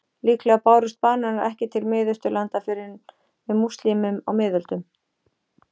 Líklega bárust bananar ekki til Miðausturlanda fyrr en með múslímum á miðöldum.